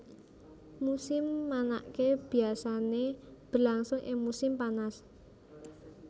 Musim manaké biasané berlangsung ing musim panas